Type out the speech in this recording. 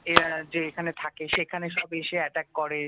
এরা যে এখানে থাকে সেখানে সব এসে এটাক করে